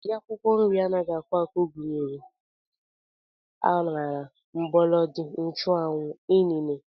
Ụdị akwụkwọ nri anaghị akwụ akwụ gụnyere akwụkwọ aṅara, mgbọlọdị, nchụanwụ, inine